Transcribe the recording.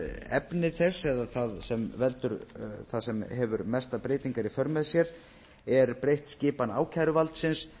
meginefni þess eða það sem hefur mestar breytingar í för með sér er breytt skipan ákæruvaldsins